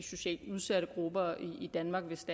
socialt udsatte grupper i danmark hvis